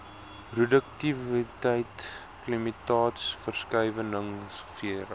roduktiwiteit klimaatsverskuiwinhg vera